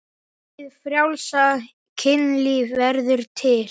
Hið frjálsa kynlíf verður til.